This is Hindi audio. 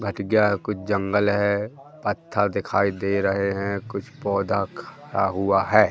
कुछ जंगल है पत्थर दिखाई दे रहे हैं कुछ पौधा खड़ा हुआ है।